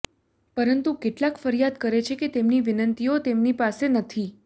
પરંતુ કેટલાક ફરિયાદ કરે છે કે તેમની વિનંતીઓ તેમની પાસે નથી